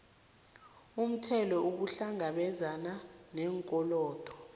umthelo ukuhlangabezana neenkolodo